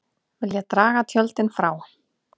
Vilja draga tjöldin frá